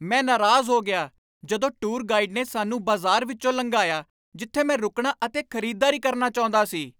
ਮੈਂ ਨਾਰਾਜ਼ ਹੋ ਗਿਆ ਜਦੋਂ ਟੂਰ ਗਾਈਡ ਨੇ ਸਾਨੂੰ ਬਾਜ਼ਾਰ ਵਿੱਚੋਂ ਲੰਘਾਇਆ ਜਿੱਥੇ ਮੈਂ ਰੁਕਣਾ ਅਤੇ ਖ਼ਰੀਦਦਾਰੀ ਕਰਨਾ ਚਾਹੁੰਦਾ ਸੀ।